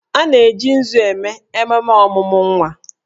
A na-eji nzu eme ememe ọmụmụ nwa